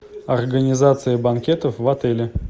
организация банкетов в отеле